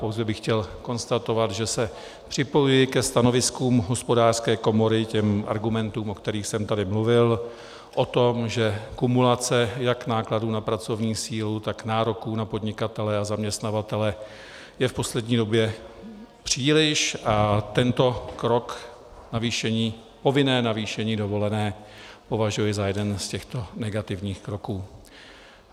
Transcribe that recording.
Pouze bych chtěl konstatovat, že se připojuji ke stanoviskům Hospodářské komory, k argumentům, o kterých jsem tady mluvil, o tom, že kumulace jak nákladů na pracovní sílu, tak nároků na podnikatele a zaměstnavatele je v poslední době příliš, a tento krok, povinné navýšení dovolené, považuji za jeden z těchto negativních kroků.